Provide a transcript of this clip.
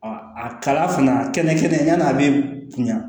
a kala fana a kɛnɛ kɛnɛ kɛnɛ yanni a bɛ kunya